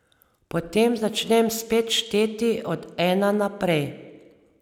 Potem začnem spet šteti od ena naprej.